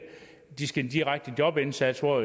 de skal have en direkte jobindsats hvor